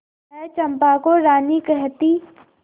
वह चंपा को रानी कहती